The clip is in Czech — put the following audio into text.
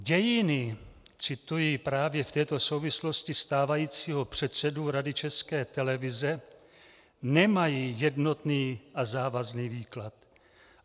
Dějiny - cituji právě v této souvislosti stávajícího předsedu Rady České televize - nemají jednotný a závazný výklad.